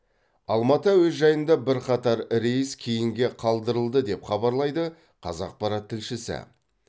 алматы әуежайында бірқатар рейс кейінге қалдырылды деп хабарлайды қазақпарат тілшісі